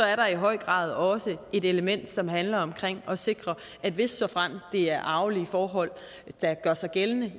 er der i høj grad også et element som handler om at sikre at hvis og såfremt det er arvelige forhold der gør sig gældende